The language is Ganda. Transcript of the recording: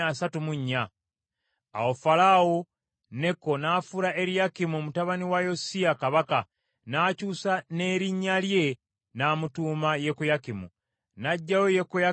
Awo Falaawo Neko n’afuula Eriyakimu mutabani wa Yosiya kabaka, n’akyusa n’erinnya lye, n’amutuuma Yekoyakimu. N’aggyayo Yekoyakaazi, n’amutwala e Misiri, era eyo gye yafiira.